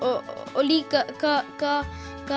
og líka